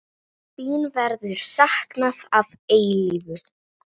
Þín verður saknað að eilífu.